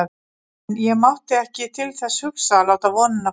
En ég mátti ekki til þess hugsa að láta vonina fljúga.